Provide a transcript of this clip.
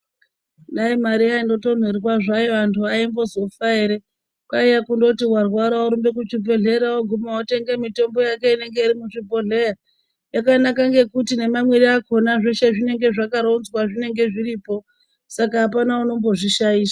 Dai mari yaindotonherwa antu aimbozofa ere kwaiye kundoti warwara worumba kuchibhedhleya woguma wotenge mutombo yake inenge iri muchibhodhleya yakanaka ngekuti ngemamwire akhona zvinenge zvakaronzwa zveshe zvinenge zviripo saka apana unombozvishaisha.